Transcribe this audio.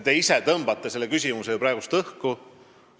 Te ise viskasite selle küsimuse praegu õhku.